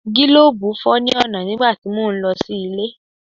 Gílòbù fọ́ ní ọ̀nà nígbà tí mò ń lọ sí ilé.